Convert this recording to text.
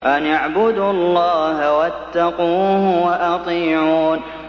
أَنِ اعْبُدُوا اللَّهَ وَاتَّقُوهُ وَأَطِيعُونِ